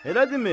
Elədimi?